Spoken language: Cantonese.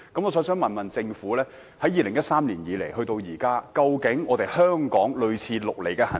我想問政府，自2013年至今，香港是否有採取類似"綠籬"的行動？